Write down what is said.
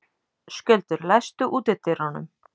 Skjöldur, læstu útidyrunum.